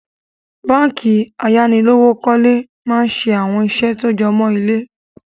Báànkì ayánilówókọ̀lé máa ń ṣe àwọn ìṣe tó jọmó ilé